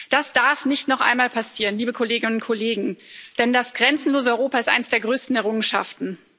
Das darf nicht noch einmal passieren, liebe Kolleginnen und Kollegen, denn das grenzenlose Europa ist eine der größten Errungenschaften.